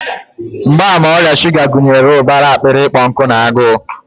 Mgbaàmà ọrịa shuga gụnyere ụbara akpịrị ịkpọ nkụ na agụụ.